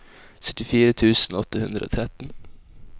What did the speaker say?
syttifire tusen åtte hundre og tretten